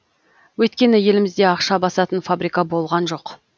өйткені елімізде ақша басатын фабрика болған жоқ